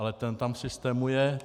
Ale ten tam v systému je.